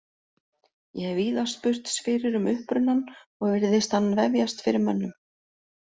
Ég hef víða spurst fyrir um upprunann og virðist hann vefjast fyrir mönnum.